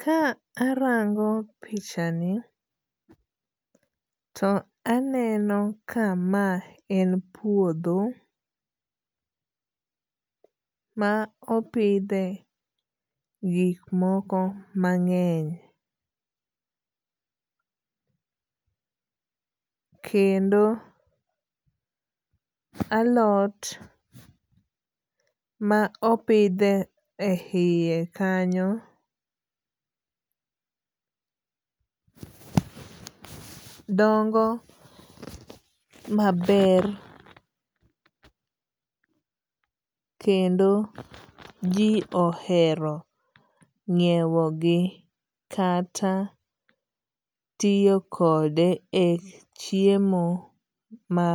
Ka arango pichani to aneno ka ma en puodho ma opidhe gik moko mang'eny. Kendo alot ma opidhe e yie kanyo dongo maber kendo ji ohero ng'iewo gi kata tiyo kode e chiemo ma